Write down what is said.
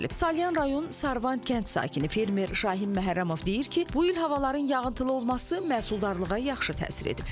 Salyan rayon Sarvan kənd sakini fermer Şahin Məhərrəmov deyir ki, bu il havaların yağıntılı olması məhsuldarlığa yaxşı təsir edib.